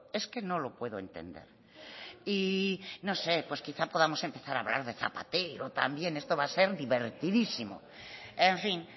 es que no lo puedo entender y no sé pues quizás podamos empezar a hablar de zapatero también esto va a ser divertidísimo en fin